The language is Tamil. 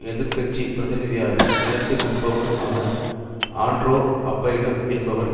எதிர்கட்சி பிரதிநிதியாக உயர்ந்து நிற்பவருமான ஆன்ட்ரே அப்பைடு என்பவர்